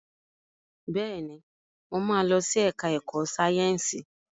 Bẹ́ẹ̀ni, mo ma lọ sí ẹ̀ká ẹ̀kọ́ Sáyẹ̀nsì